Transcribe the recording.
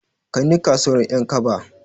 Kaini kasuwar Ƴankaba.